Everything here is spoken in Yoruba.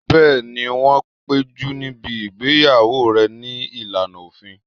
Bẹ́ẹ̀ni, wọ́n péjú níbi ìgbéyàwó rẹ̀ ní ìlànà òfin